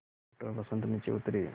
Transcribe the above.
doctor Vasant नीचे उतरे